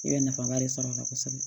I bɛ nafaba de sɔrɔ a la kosɛbɛ